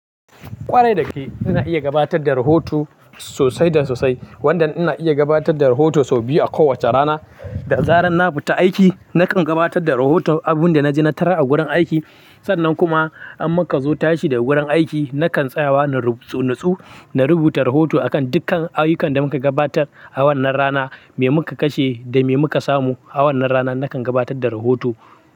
Ƙwarai da gaske, ina iya gabatar da rahoto sosai da sosai. Wanda ina iya gabatar da rahoto sau biyu a kowace rana. Da zaran na fita aiki, nakan gabatar da rohoton abunda na ji na tarar a gurin aiki. Sannan kuma in muka zo tashi daga gurin aiki, nakan tsayawa na ratsun, na rubuta rohoto akan dukkan ayyukan da muka gabatar a wannan rana, me muka kashe da me muka samu a wannan rana, nakan gabatar da rohoto.